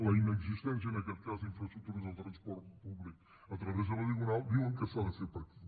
la inexistència en aquest cas d’infraestructures de transport públic a través de la diagonal diuen que s’ha de fer per aquí